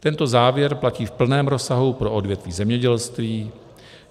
Tento závěr platí v plném rozsahu pro odvětví zemědělství.